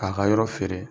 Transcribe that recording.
K'a ka yɔrɔ feere